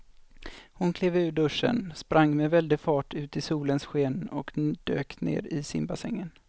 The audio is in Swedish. Hon klev ur duschen, sprang med väldig fart ut i solens sken och dök ner i simbassängen.